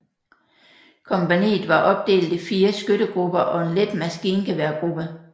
Kompagniet var opdelt i fire skyttegrupper og en let maskingeværgruppe